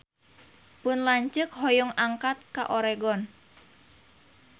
Pun lanceuk hoyong angkat ka Oregon